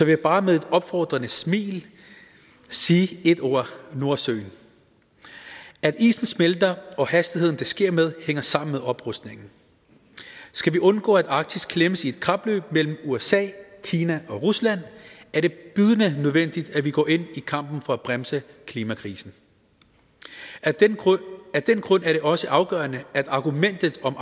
jeg bare med et opfordrende smil sige ét ord nordsøen at isen smelter og den hastighed det sker med hænger sammen med oprustningen skal vi undgå at arktis klemmes i et kapløb mellem usa kina og rusland er det bydende nødvendigt at vi går ind i kampen for at bremse klimakrisen af den grund er det også afgørende at argumentet om